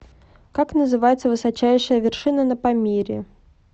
как называется высочайшая вершина на памире